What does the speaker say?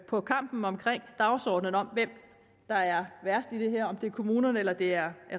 på kampen om dagsordenen om hvem der er værst i det her altså om det er kommunerne eller det er